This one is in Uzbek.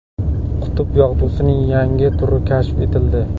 Qutb yog‘dusining yangi turi kashf etildi.